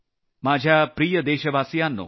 माझ्या प्रिय देशवासियांनो